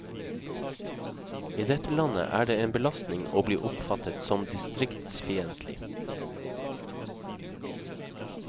I dette landet er det en belastning å bli oppfattet som distriktsfiendtlig.